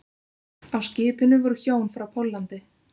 Á skipinu voru hjón frá Póllandi